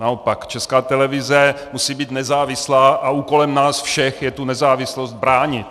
Naopak, Česká televize musí být nezávislá a úkolem nás všech je tu nezávislost bránit.